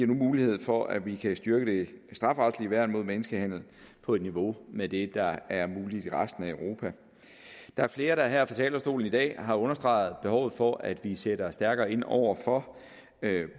nu mulighed for at vi kan styrke det strafferetlige værn mod menneskehandel på et niveau med det der er muligt i resten af europa der er flere der her fra talerstolen i dag har understreget behovet for at vi sætter stærkere ind over for